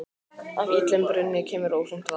Af illum brunni kemur óhreint vatn.